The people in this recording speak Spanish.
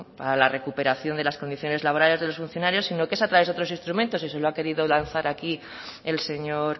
para la recuperación de las condiciones laborales de los funcionarios sino que es a través de otros instrumentos y se lo ha querido lanzar aquí el señor